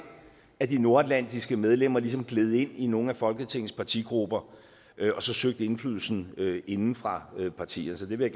at de nordatlantiske medlemmer ligesom gled ind i nogle af folketingets partigrupper og så søgte indflydelsen inde fra partierne så det vil